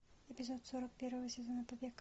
эпизод сорок первого сезона побег